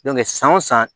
san o san